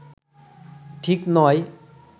ঠিক নয়